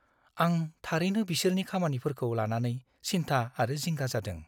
आं थारैनो बिसोरनि खामानिफोरखौ लानानै सिन्था आरो जिंगा जादों।